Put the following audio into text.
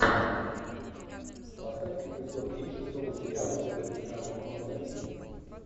поставь эпизод три шестого сериала дело гастронома номер один